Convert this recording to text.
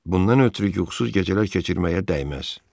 Bundan ötrü yuxusuz gecələr keçirməyə dəyməz.